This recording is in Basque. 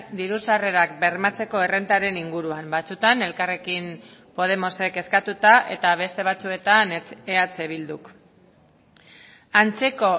diru sarrerak bermatzeko errentaren inguruan batzuetan elkarrekin podemosek eskatuta eta beste batzuetan eh bilduk antzeko